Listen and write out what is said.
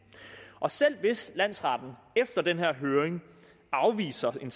og selv hvis landsretten efter den her høring afviser en